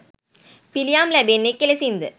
පිළියම් ලැබෙන්නේ කෙලෙසින්ද?